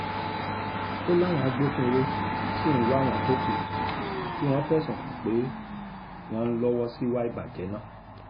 ó láwọn agbófinró sì ń wá àwọn tó kù tí wọ́n fẹ̀sùn kàn pé wọ́n ń lọ́wọ́ síwá ìbàjẹ́ náà